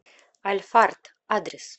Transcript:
альфард адрес